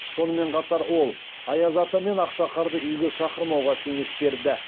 сонымен қатар ол аяз ата мен ақшақарды үйге шақырмауға кеңес берді